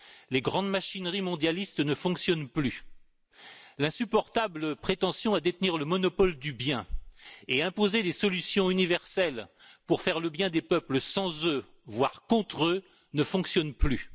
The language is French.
Les grandes machineries mondialistes ne fonctionnent plus, l'insupportable prétention à détenir le monopole du bien et à imposer des solutions universelles pour faire le bien des peuples sans eux, voire contre eux, ne fonctionne plus.